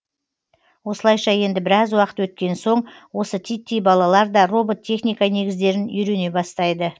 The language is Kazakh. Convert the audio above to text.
осылайша енді біраз уақыт өткен соң осы титтей балалар да робот техника негіздерін үйрене бастайды